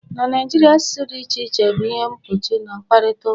na Naijiria, asụsụ dị iche iche bụ ihe mgbochi na mkparịta ụka